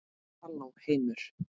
Halló heimur!